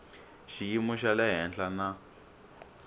xiyimo xa le henhla na